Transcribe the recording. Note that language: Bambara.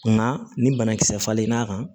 Nka ni banakisɛ falen n'a kan